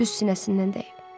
Düz sinəsindən dəyib.